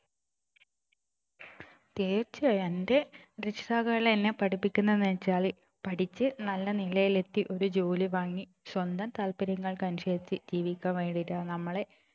തീർച്ചയായും എൻ്റെ രക്ഷിതാക്കളെല്ലാം എന്നെ പഠിപ്പിക്കുന്നെന്ന് വച്ചാൽ പഠിച്ചു നല്ല നിലയിലെത്തി ഒരു ജോലി വാങ്ങി സ്വന്തം താത്പര്യങ്ങൾക്കനുസരിച് ജീവിക്കാൻ വേണ്ടീട്ടാണ് നമ്മളെ